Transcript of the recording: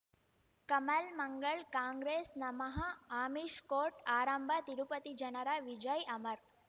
ಕಮಲ್ ಮಂಗಳ್ ಕಾಂಗ್ರೆಸ್ ನಮಃ ಅಮಿಷ್ ಕೋರ್ಟ್ ಆರಂಭ ತಿರುಪತಿ ಜನರ ವಿಜಯ್ ಅಮರ್